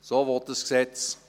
So will es das Gesetz.